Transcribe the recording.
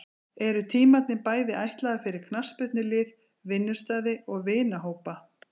Eru tímarnir bæði ætlaðir fyrir knattspyrnulið, vinnustaði og vinahópa.